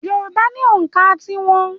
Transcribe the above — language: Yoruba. Yorùbá ni ònkà tí wọn.